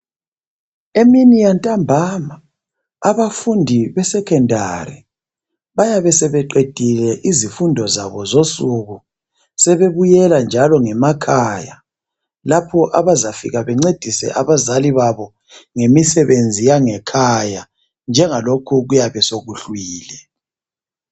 Emini yantambama abafundi besecondary bayabe sebeqedile izifundo zabo zosuku sebebuyela njalo ngemakhaya lapho abazefika bencedise abazali babo ngemisebenzi yangekhaya njengalokho kuyabe sokuhlwile.